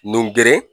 Nun geren